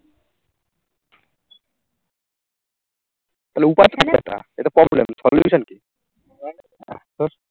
তালে উপায় কি এটার? এটা problem solution কি?